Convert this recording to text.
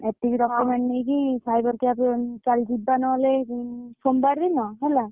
ଏତିକି document ନେଇକି cyber camp ରେ ଚାଲ ଯିବା ନହେଲେ ସୋମବାର ଦିନ ହେଲା।